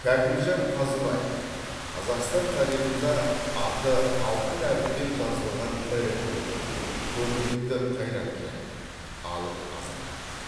кәкімжан қазыбаев қазақстан тарихында аты алтын әріппен жазылған ірі тұлға көрнекті қайраткер алып азамат